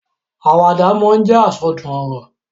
Àwàdà máa ń jẹ́ àsọdùn ọ̀rọ̀.